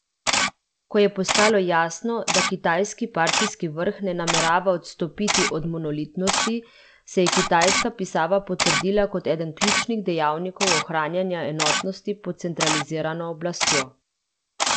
Ko je postalo jasno, da kitajski partijski vrh ne namerava odstopiti od monolitnosti, se je kitajska pisava potrdila kot eden ključnih dejavnikov ohranjanja enotnosti pod centralizirano oblastjo.